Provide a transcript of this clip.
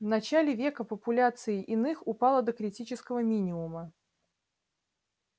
в начале века популяция иных упала до критического минимума